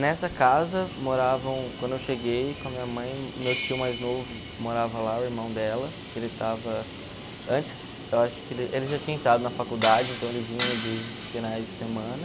Nessa casa moravam, quando eu cheguei com a minha mãe, meu tio mais novo morava lá, o irmão dela, que ele estava... Antes, eu acho que ele ele já tinha entrado na faculdade, então ele vinha de finais de semana.